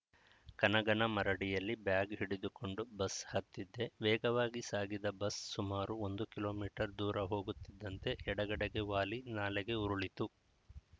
ಕನಗನಮರಡಿಯಲ್ಲಿ bag ಹಿಡಿದುಕೊಂಡು bus ಹತ್ತಿದ್ದೆ ವೇಗವಾಗಿ ಸಾಗಿದ ಬಸ್‌ ಸುಮಾರು ಒಂದು ಕಿಲೋ ಮೀಟರ್ ದೂರ ಹೋಗುತ್ತಿದ್ದಂತೆ ಎಡಗಡೆಗೆ ವಾಲಿ ನಾಲೆಗೆ ಉರುಳಿತು